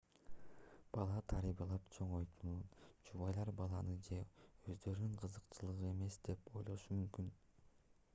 бала тарбиялап чоңойтууну жубайлар баланын же өздөрүнүн кызыкчылыгы эмес деп ойлошу мүмкүн